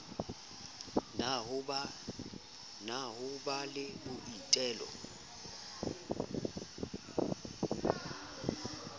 na ho ba le boitelo